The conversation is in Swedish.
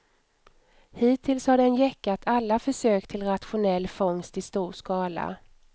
Hittills har den gäckat alla försök till rationell fångst i stor skala.